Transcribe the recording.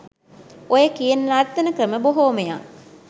ඔය කියන නර්තන ක්‍රම බොහෝමයක්